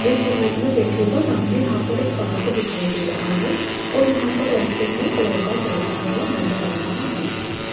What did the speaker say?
इस इमेज में देखिएगा सामने यहां पर एक पार्क दिखाई दे रहा है और यहां पर रास्ते में एक लड़का चलता हुआ नजर आ रहा है।